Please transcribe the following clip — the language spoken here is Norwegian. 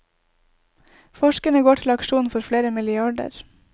Forskerne går til aksjon for flere milliarder.